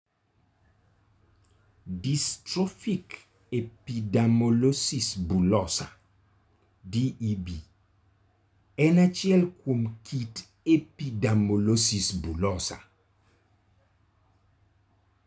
Dystrophic epidermolysis bullosa (DEB) en achiel kuom kit epidermolysis bullosa.